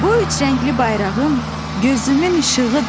Bu üç rəngli bayrağım gözümün işığıdır.